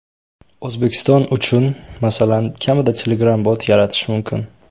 O‘zbekiston uchun, masalan, kamida Telegram-bot yaratish mumkin.